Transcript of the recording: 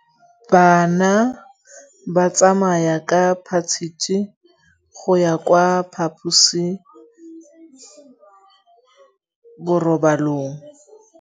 Bana ba tsamaya ka phašitshe go ya kwa phaposiborobalong.